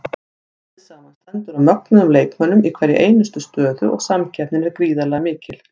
Liðið samanstendur af mögnuðum leikmönnum í hverri einustu stöðu og samkeppnin er gríðarlega mikil.